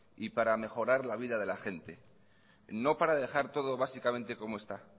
y para mejorar la vida de la gente no para dejar todo básicamente como está